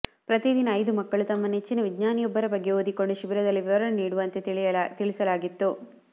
ಪ್ರತಿದಿನ ಐದು ಮಕ್ಕಳು ತಮ್ಮ ನೆಚ್ಚಿನ ವಿಜ್ಞಾನಿಯೊಬ್ಬರ ಬಗ್ಗೆ ಓದಿಕೊಂಡು ಶಿಬಿರದಲ್ಲಿ ವಿವರಣೆ ನೀಡುವಂತೆ ತಿಳಿಸಲಾಗಿತ್ತು